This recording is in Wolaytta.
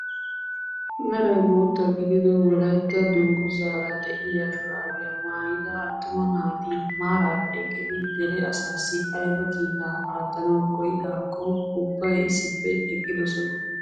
Meray bootta gidido wolaytta dunguzaara de'iyaa shuraabiyaa maayida attuma naati maarara eqqidi dere asaassi ayba kiitaa aattanawu koyidaakko ubbay issippe eqqidosona!